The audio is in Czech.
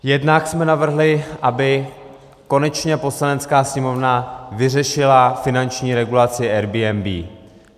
Jednak jsme navrhli, aby konečně Poslanecká sněmovna vyřešila finanční regulaci Airbnb.